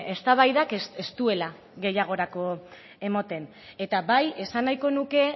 eztabaidak ez duela gehiagorako ematen eta bai esan nahiko nuke